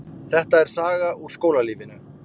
Þetta er saga úr skólalífinu.